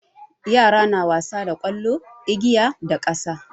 Yara na wasa da ƙwallo, igiya da ƙasa.